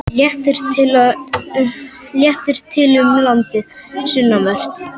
Léttir til um landið sunnanvert